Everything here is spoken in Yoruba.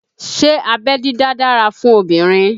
Ṣé abẹ́ dídá dára fún obìnrin?